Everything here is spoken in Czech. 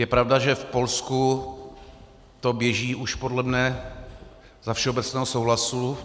Je pravda, že v Polsku to běží už podle mne za všeobecného souhlasu.